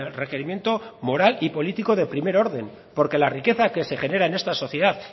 requerimiento moral y político de primer orden porque la riqueza que se genera en esta sociedad